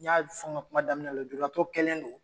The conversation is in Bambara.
N y'a fɔ n ka kuma daminɛ la, nujuratɔ kɛlen don